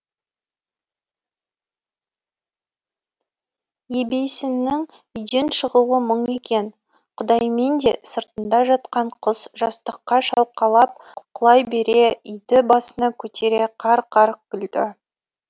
ебейсіннің үйден шығуы мұң екен құдайменде сыртында жатқан құс жастыққа шалқалап құлай бере үйді басына көтере қарқ қарқ күлді